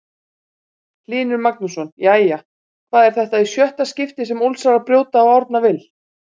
Hlynur Magnússon Jæja, hvað er þetta í sjötta skiptið sem Ólsarar brjóta á Árna Vill?